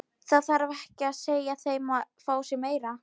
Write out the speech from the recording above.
Það þarf ekki að segja þeim að fá sér meira.